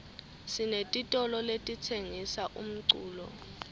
sinetitolo letitsengisa umculo